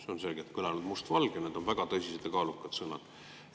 See on selgelt kõlanud must valgel, need on väga tõsised ja kaalukad sõnad.